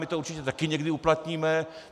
My to určitě taky někdy uplatníme.